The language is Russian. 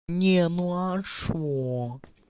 не ну а что